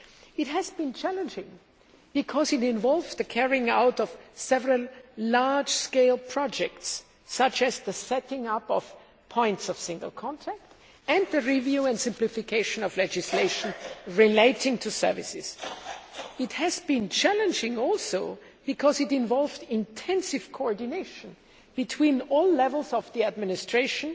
It has been challenging because it involved the carrying out of several large scale projects, such as the setting up of points of single contact' and the review and simplification of legislation relating to services. It has been challenging also because it involved intensive coordination between all levels of the administration,